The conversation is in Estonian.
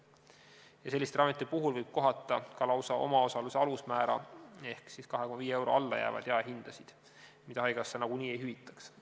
Ja selliste ravimite puhul võib kohata ka lausa omaosaluse alusmäära ehk alla 2,5 euro jäävaid jaehindasid, mida haigekassa nagunii ei hüvitaks.